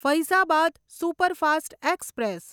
Faizabad superfast express